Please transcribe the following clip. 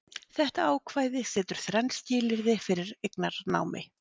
þetta ákvæði setur þrenn skilyrði fyrir eignarnámi